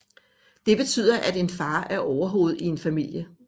Det betyder at en far er overhoved i en familie